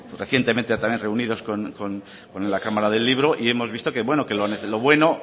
recientemente también reunidos con la cámara del libro y hemos visto que bueno que lo bueno